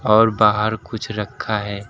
और बाहर कुछ रखा है।